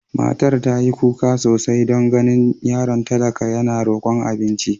Matar ta yi kuka sosai don ganin yaron talaka yana rokon abinci.